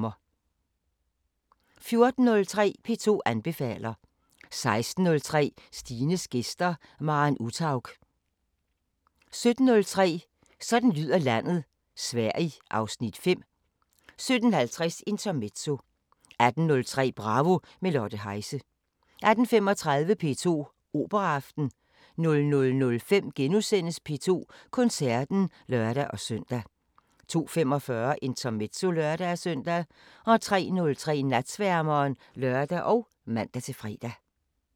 14:03: P2 anbefaler 16:03: Stines gæster: Maren Uthaug 17:03: Sådan lyder landet: Sverige (Afs. 5) 17:50: Intermezzo 18:03: Bravo – med Lotte Heise 18:35: P2 Operaaften 00:05: P2 Koncerten *(lør-søn) 02:45: Intermezzo (lør-søn) 03:03: Natsværmeren (lør og man-fre)